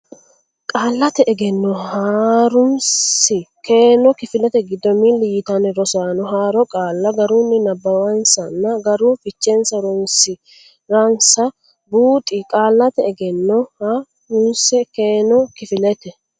Qaallate Egenno Ha runsi keeno Kifilete giddo milli yitanni rasaano haaro qaalla garunni nabbawansanna garu fichenni horonsi ransa buuxi Qaallate Egenno Ha runsi keeno Kifilete.